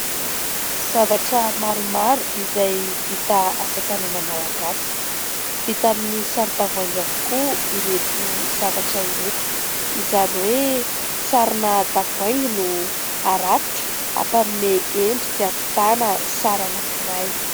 Zavatra maromaro izay vita asatanana malagasy, vita amin'ny saron-tavoahangy avokoa ireto zavatra ireto. Izany hoe, sarona tavoahangy no arafitra hampanome endrika ahavitana sary anankiray.